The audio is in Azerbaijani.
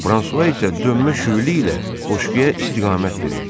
Fransua isə dönmə şüylü ilə qoşquya istiqamət verirdi.